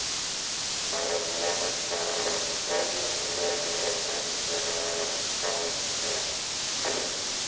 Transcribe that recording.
Maður vonast á hverjum degi eftir að fá fréttir.